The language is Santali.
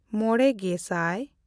ᱢᱚᱬᱮᱼᱜᱮᱥᱟᱭ